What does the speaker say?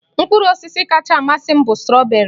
Mkpụrụ osisi kachasị amasị m bụ strọberị